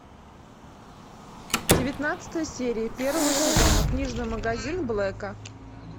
девятнадцатая серия первого сезона книжный магазин блэка